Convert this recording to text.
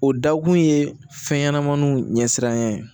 O dakun ye fɛn ɲɛnamaninw ɲɛsiranɲɛ ye